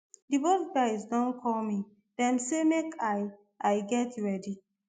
di boat guys don call me dem say make i i get ready